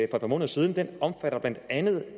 par måneder siden den omfatter blandt andet det